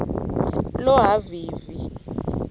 lohhavivi